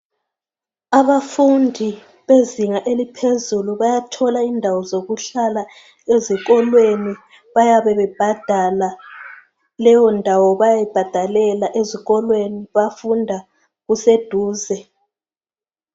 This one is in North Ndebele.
Abafundi bezinga eliphezulu bayathola indawo zokuhlala ezikolweni bayabebebhadala leyo ndawo bayibhadalela bafunda kuseduze